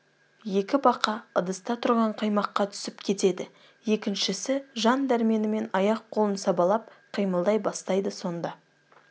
екі бақа ыдыста тұрған қаймаққа түсіп кетеді екіншісі жан дәрменімен аяқ қолын сабалап қимылдай бастайды сонда